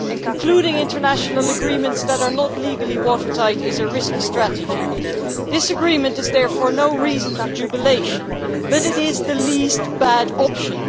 Concluding international agreements that are not legally watertight is a risky strategy. This agreement is therefore no reason for jubilation, but it is the least bad option.